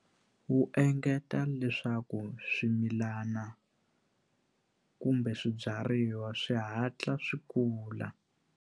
Wu engeta leswaku swimilana kumbe swibyariwa swi hatla swi kula.